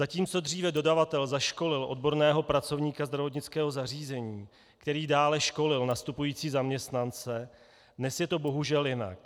Zatímco dříve dodavatel zaškolil odborného pracovníka zdravotnického zařízení, který dále školil nastupující zaměstnance, dnes je to bohužel jinak.